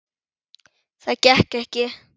Það gekk ekki